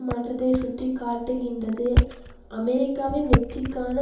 மாற்றத்தை சுட்டி காட்டுகின்றதுஅமெரிக்காவின் வெற்றிக்கான